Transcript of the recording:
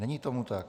Není tomu tak.